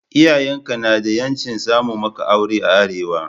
Iyayen ka na da 'yancin samo maka aure a Arewa.